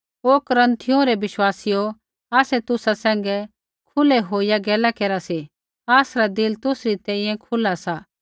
हे कुरिन्थियों रै विश्वासीयौ आसै तुसा सैंघै खुलै होईया गैला केरी सी आसरा दिल तुसरी तेइयै खुला सा